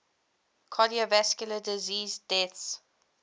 cardiovascular disease deaths